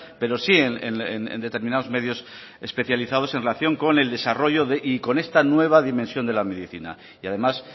pero sí en determinados medios especializados en relación con el desarrollo y con esta nueva dimensión de la medicina y además